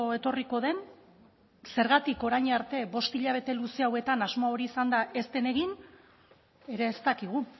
etorriko den zergatik orain arte bost hilabete luze hauetan asmo hori izanda ez den egin ere ez dakigu